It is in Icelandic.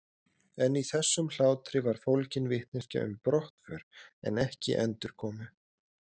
En í þessum hlátri var fólgin vitneskja um brottför en ekki endurkomu.